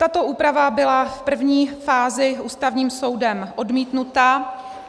Tato úprava byla v první fázi Ústavním soudem odmítnuta.